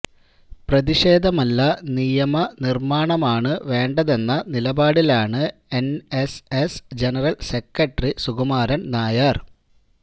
പ്രതിഷേധമല്ല നിയമ നിർമ്മാണമാണ് വേണ്ടതെന്ന നിലപാടിലാണ് N S S general secretary Sukumaran Nair